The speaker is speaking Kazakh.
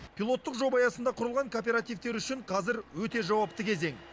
пилоттық жоба аясында құрылған кооперативтер үшін қазір өте жауапты кезең